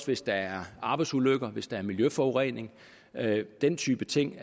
hvis der er arbejdsulykker hvis der er miljøforurening den type ting